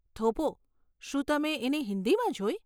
થોભો, શું તમે એને હિંદીમાં જોઈ?